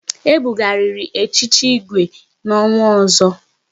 E bughariri echichi Igwe n'ọnwa ọzọ